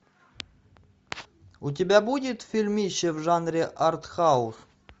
у тебя будет фильмище в жанре артхаус